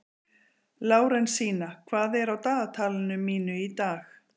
Lárensína, hvað er á dagatalinu mínu í dag?